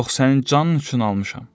Yox, sənin canın üçün almışam.